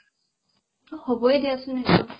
হ'বয়ে দিয়াচোন সেইটো